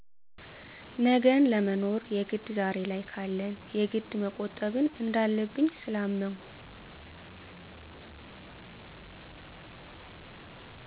ነገን ለመኖር የግድ ዛሬ ላይ ካለን የግድ መቆጠብን እንዳለብኝ ስላመንሁ።